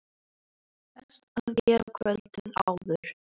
Best að gera kvöldið áður.